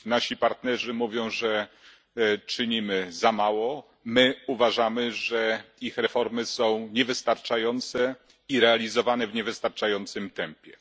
Nasi partnerzy mówią, że czynimy za mało, my uważamy, że ich reformy są niewystarczające i realizowane w niewystarczającym tempie.